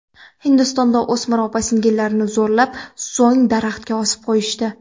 Hindistonda o‘smir opa-singillarni zo‘rlab, so‘ng daraxtga osib qo‘yishdi.